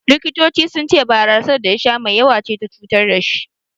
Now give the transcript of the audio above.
The Doctors said he got intoxicated by the too much amount of beer he consumed.